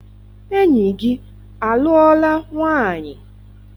Enyi gị alụọla nwaanyị?